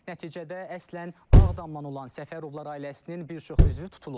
Nəticədə əslən Ağdamdan olan Səfərovlar ailəsinin bir çox üzvü tutulub.